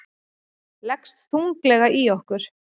Leggst þunglega í okkur